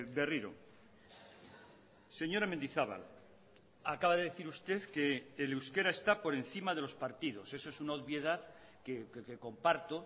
berriro señora mendizabal acaba de decir usted que el euskera está por encima de los partidos eso es una obviedad que comparto